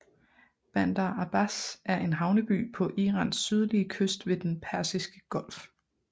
Bandar Abbas er en havneby på Irans sydlige kyst ved Den Persiske Golf